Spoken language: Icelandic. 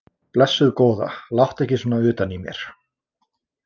Blessuð góða, láttu ekki svona utan í mér.